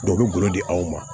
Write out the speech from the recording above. Dɔ bɛ golo di aw ma